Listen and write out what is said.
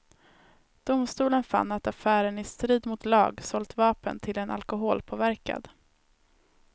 Domstolen fann att affären i strid mot lag sålt vapen till en alkoholpåverkad.